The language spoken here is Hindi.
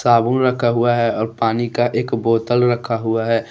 अबूल रखा हुआ है और पानी का एक बोतल रखा हुआ है।